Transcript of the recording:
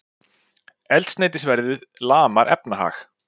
Eldsneytisverðið lamar efnahag